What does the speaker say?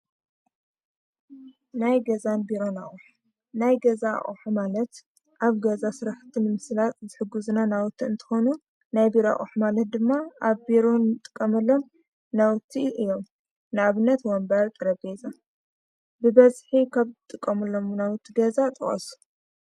ናይ ገዛን ቢሮን አቁሑ ናይ ገዛ አቁሑ ማለት ኣብ ገዛ ስራሕቲ ንምስላጥ ዝሕግዙና ናውቲ እንትኮኑ፤ ናይ ቢሮ አቁሑ ማለት ድማ ኣብ ቢሮ ንጥቀመሎም ናውቲ እዮም፡፡ ንኣብነት ወንበር ፣ ጠረጴዛ። ብበዝሒ ካብ ትጥቀሙሎም ናውቲ ገዛ ጥቀሱ?